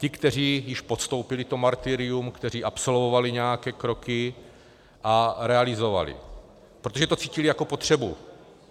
Ti, kteří již podstoupili to martyrium, kteří absolvovali nějaké kroky a realizovali, protože to cítili jako potřebu.